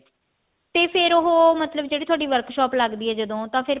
ਤੇ ਫ਼ੇਰ ਉਹ ਜਿਹੜੀ ਥੋਡੀ workshop ਲੱਗਦੀ ਹੈ ਜਦੋਂ ਤਾਂ ਫ਼ੇਰ